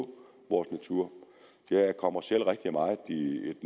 på vores natur jeg kommer selv rigtig meget i et